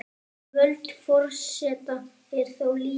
Völd forseta eru þó lítil.